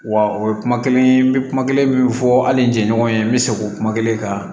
Wa o ye kuma kelen ye n bɛ kuma kelen min fɔ hali n jɛɲɔgɔn ye n bɛ segin o kuma kelen kan